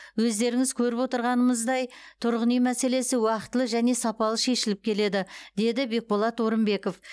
өздеріңіз көріп отырғанымыздай тұрғын үй мәселесі уақытылы және сапалы шешіліп келеді деді бекболат орынбеков